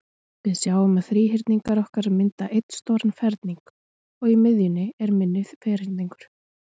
Við sjáum að þríhyrningarnir okkar mynda einn stóran ferning, og í miðjunni er minni ferningur.